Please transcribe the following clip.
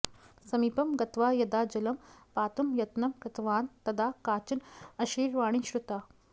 समीपं गत्वा यदा जलं पातुं यत्नं कृतवान् तदा काचन अशरीरवाणी श्रुता